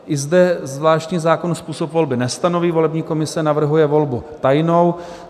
I zde zvláštní zákon způsob volby nestanoví, volební komise navrhuje volbu tajnou;